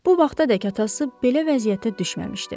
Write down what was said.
Bu vaxtadək atası belə vəziyyətə düşməmişdi.